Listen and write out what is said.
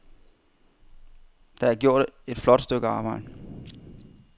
Der er gjort et flot stykke arbejde.